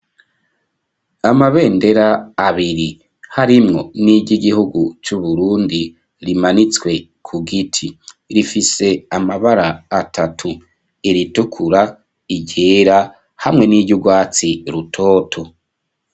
Amabendera abiri harimwo niry’igihugu c'uburundi rimanitswe ku giti rifise amabara atatu iritukura iryera hamwe n'iyugwatsi rutoto.